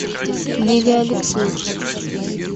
лилия алексеевна